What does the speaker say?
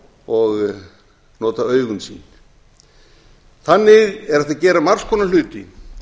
og nota augun sín þannig er hægt að gera margs konar hluti